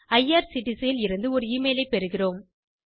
IRCTC இல் இருந்து ஒரு எமெயில் பெறுகிறோம்